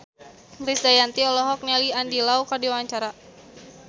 Krisdayanti olohok ningali Andy Lau keur diwawancara